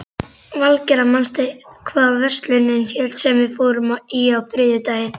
Valgerða, manstu hvað verslunin hét sem við fórum í á þriðjudaginn?